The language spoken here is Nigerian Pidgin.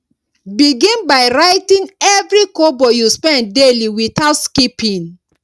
begin by writing every kobo you spend daily without skipping